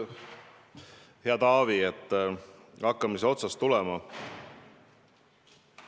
Hea Taavi, hakkame siis otsast tulema!